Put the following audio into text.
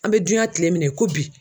An bɛ duyan kile min na i ko bi